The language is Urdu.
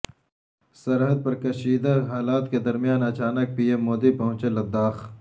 سرحد پر کشیدہ حالات کے درمیان اچانک پی ایم مودی پہنچے لداخ